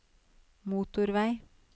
motorvei